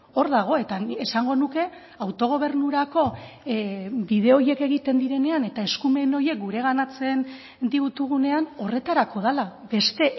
hor dago eta esango nuke autogobernurako bide horiek egiten direnean eta eskumen horiek gureganatzen ditugunean horretarako dela beste